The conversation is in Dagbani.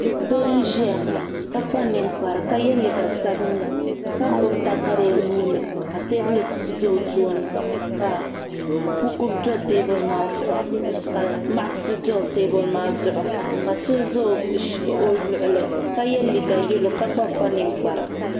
Doo m ziya ka kpa ninikpara ka yiɛ liiga sabinli ka gbubi takara o nuu ni ka tɛɛbuli za o tooni ka buku do tɛɛbuli maa zuɣu ka maɣisi do tɛɛbuli maa zuɣu ka so za o luɣuli ka yiɛ liiga yɛlo ka gba kpa ninikpara.